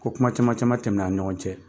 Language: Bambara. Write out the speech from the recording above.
Ko kuma caman caman tɛmɛna a' ni ɲɔgɔn cɛ.